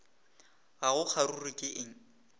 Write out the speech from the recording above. ga go kgaruru ke eng